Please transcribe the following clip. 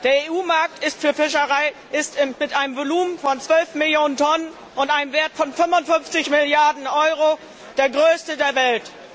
Der EU Markt für Fischerei ist mit einem Volumen von 12 Millionen Tonnen und einem Wert von 55 Milliarden Euro der größte der Welt.